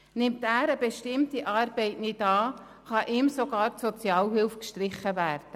Nimmt er eine bestimmte Arbeit nicht an, kann ihm sogar die Sozialhilfe gestrichen werden.